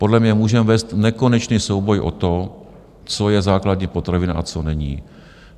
Podle mě můžeme vést nekonečný souboj o to, co je základní potravina a co není.